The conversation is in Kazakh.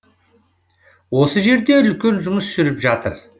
осы жерде үлкен жұмыс жүріп жатыр